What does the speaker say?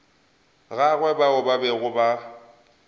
gagwe bao ba bego ba